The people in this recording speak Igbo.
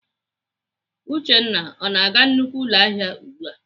Uchenna ọ na-aga nnukwu ụlọahịa ugbu a!